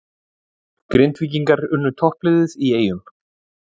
Grindvíkingar unnu toppliðið í Eyjum